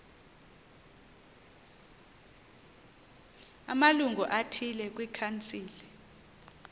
amalungu athile kwikhansile